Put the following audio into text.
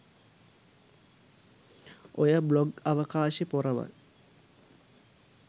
ඔය බ්ලොග් අවකාශෙ පොරවල්